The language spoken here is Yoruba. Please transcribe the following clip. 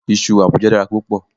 Iṣu Àbújá dára púpọ̀